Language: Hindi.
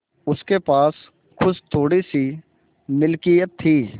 उसके पास कुछ थोड़ीसी मिलकियत थी